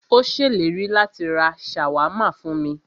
Ó ṣèlérí láti rá ṣàwámà fún mí.